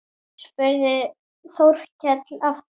spurði Þórkell aftur.